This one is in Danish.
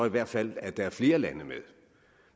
i hvert fald være flere lande med